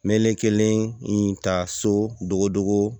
Melekelen ta so dogo dogo